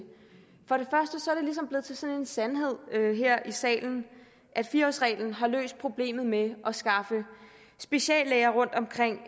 ligesom blevet til sådan en sandhed her i salen at fire årsreglen har løst problemet med at skaffe speciallæger rundtomkring i